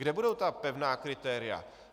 Kde budou ta pevná kritéria?